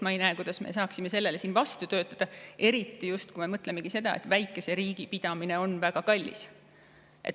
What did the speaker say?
Ma ei näe, kuidas me saaksime sellele vastu töötada, eriti kui me mõtleme selle peale, et väikese riigi ülalpidamine on väga kallis.